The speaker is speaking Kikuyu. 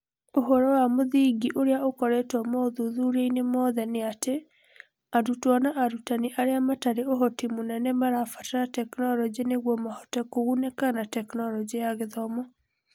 ũhoro wa mũthingi ũrĩa ũkoretwo mothuthuriainĩ mothe nĩatĩ arutwo na arutani arĩa matarĩ ũhoti mũnene marabatara tekinoronjĩ nĩguo Mahote kũgunĩka na Tekinoronjĩ ya Gĩthomo.